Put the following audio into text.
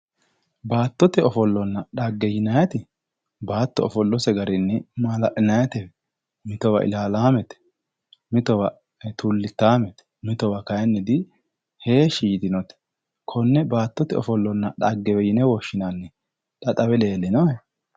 Baattote ofollona xagge yinaayiiti baatto ofollose garinni maala'linaayiite mitowa ilaalaamete mitowa tullichaamete mitowa kayiinni heeshshi yitinote.